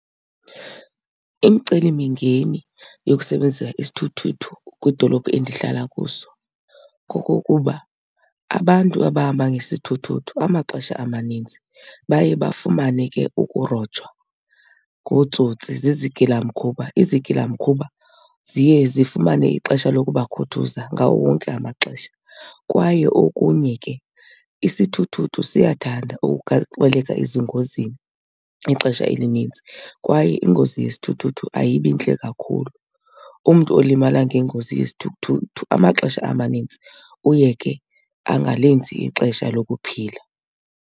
Imicelimingeni yokusebenzisa isithuthuthu kwidolophu endihlala kuso kokokuba abantu abahamba ngesithuthuthu amaxesha amaninzi baye bafumane ke ukurojwa ngootsotsi, zizigilamkhuba. Izigilamkhuba ziye zifumane ixesha lokubakhuthuza ngawo wonke amaxesha. Kwaye okunye ke isithuthuthu siyathanda ukugaxeleka ezingozini ixesha elinintsi kwaye ingozi yesithuthuthu ayibi ntle kakhulu. Umntu olimala ngengozi yesithuthuthu amaxesha amanintsi uye ke angalenzi ixesha lokuphila.